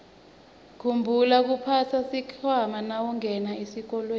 khumbula kuphatsa sikhwama nawungena esitolo